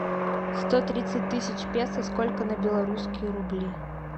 сто тридцать тысяч песо сколько на белорусские рубли